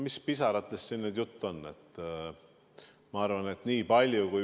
Mis pisaratest siin nüüd jutt on?